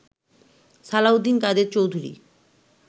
Salauddin Quader Chowdhury